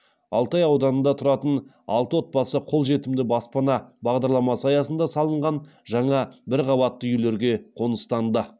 алтай ауданында тұратын алты отбасы қолжетімді баспана бағдарламасы аясында салынған жаңа бірқабатты үйлерге қоныстанды